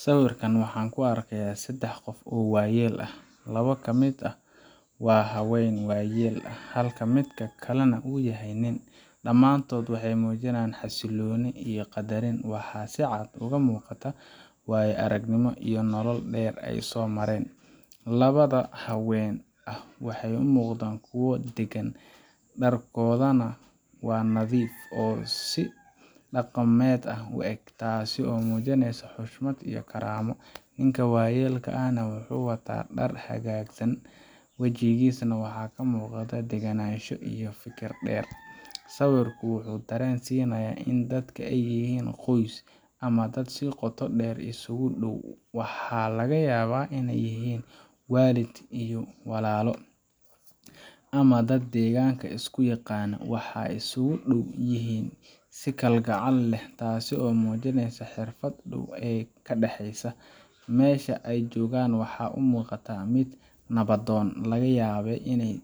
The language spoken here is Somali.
Siwirkan waxaan ku argayah sadax qof oo waya ah, lawa ka mid ah wa hawan wayal ah halka midka kle nah uyahay nin damatoda waxay mujinayan xasiloni iyo qadarin wax si cad oga muqatah way argnimo iyo nolol dar aya somaran, lawada hawanka waxay umuqdan kuwa dagan, darkodana wa nadif oo daqamad u ag tasi oo mujinaysoh, xushmad iyo garamo, ninka wayalka ah waxu wata dar xagasan, wajikisana wax ka muqatah daganasho iyo fikir dar siwirku wuxu daran sinayah in dadka ayihin qos ama dad si qotodar isku dow wax laga yaba inay yihin walid iyo walalo, ama da daganka isku yaqano waxay isku dowyihin si kal gacal ah taasi oo mujinaysoh xirfad dow a ka daxiso masha ay jogan wax umuqatah mid nawadon laga yaba inay